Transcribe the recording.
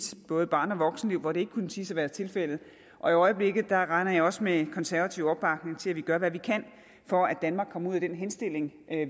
barne og voksenliv hvor det ikke kunne siges at være tilfældet og i øjeblikket regner jeg også med konservativ opbakning til at vi skal gøre hvad vi kan for at danmark kommer ud af den henstilling